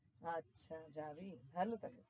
আচ্ছা যাবি ভাল তবে